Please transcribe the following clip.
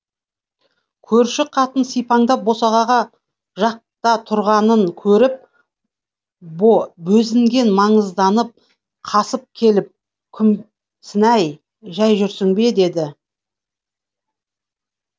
көрші қатын сипаңдап босағаға жақта тұрғанын көріп бозінген маңызданып қасын келіп күмсінай жәй жүрсің бе деді